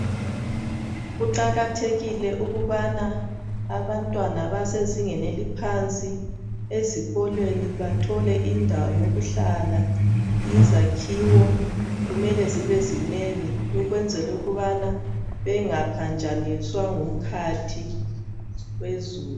Kuqakathekile ukubana abantwana abasezingeni eliphansi ezikolweni bathole indawo yokuhlala, izakhiwo kumele zibezinengi ukwenzela ukubana bengaphanjaniswa ngumkhathi wezulu.